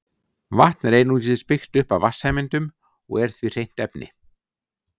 Vatn er einungis byggt upp af vatnssameindum og er því hreint efni.